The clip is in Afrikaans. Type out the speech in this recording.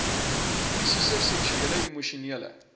fisiese seksuele emosionele